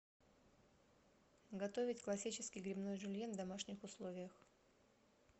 готовить классический грибной жюльен в домашних условиях